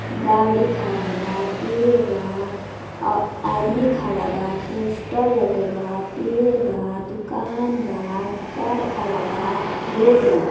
गाड़ी खडा बा पेड़ बा आ आदमी खड़ा बापोस्टर लगाल बा पेड़ बा दुकान बा कार खड़ा बा रोड बा।